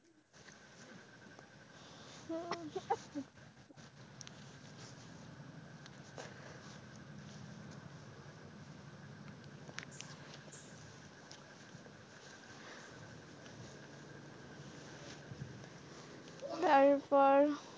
তারপর,